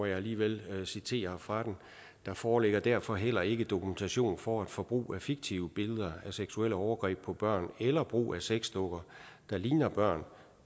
alligevel citere fra den der foreligger derfor heller ikke dokumentation for at forbrug af fiktive billeder af seksuelle overgreb på børn eller brug af sexdukker der ligner børn